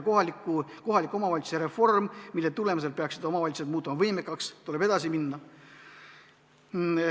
Kohaliku omavalitsuse reformiga, mille tulemusel peaksid omavalitsused muutuma võimekamaks, tuleb edasi minna.